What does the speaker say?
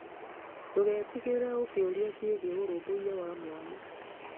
Ndũgetigĩre ũkĩũria ciegie ũrũmbũiya wa mwana.